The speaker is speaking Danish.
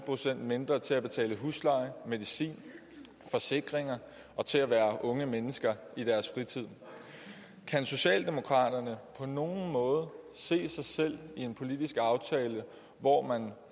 procent mindre til at betale husleje medicin forsikringer og til at være unge mennesker i deres fritid kan socialdemokraterne på nogen måde se sig selv i en politisk aftale hvor man